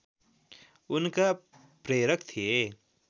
उनका प्रेरक थिए